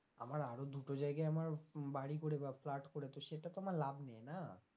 আমার আরো দুটো জায়গায় আমার বাড়ি করে বা flat করে তো সেটা তো আমার লাভ নেই না।